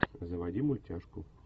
заводи мультяшку